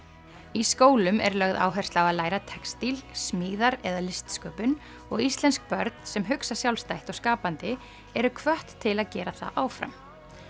í skólum er lögð áhersla á að læra textíl smíðar eða listsköpun og íslensk börn sem hugsa sjálfstætt og skapandi eru hvött til að gera það áfram